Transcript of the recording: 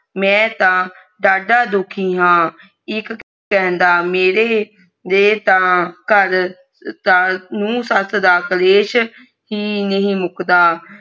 ਮੈ ਤਾਂ ਜਾਂਦਾ ਦੁਖੀ ਹਾਂ ਇਕ ਕਹਿੰਦਾ ਮੇਰੇ ਵੀ ਤਾ ਘਰ ਨੂੰ ਸੱਸ ਦਾ ਕਲੇਸ਼ ਹੀ ਨਹੀਂ ਮੁਕਦਾ